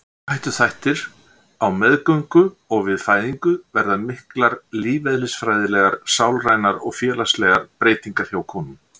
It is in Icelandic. Áhættuþættir Á meðgöngu og við fæðingu verða miklar lífeðlisfræðilegar, sálrænar og félagslegar breytingar hjá konum.